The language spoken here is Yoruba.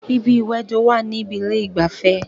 Ibi ìwẹdò wà níbi ilé ìgbafẹ́